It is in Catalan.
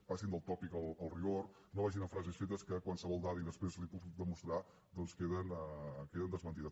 passin del tòpic al rigor no vagin amb frases fetes i qualsevol dada i després l’hi puc demostrar doncs que queden desmentides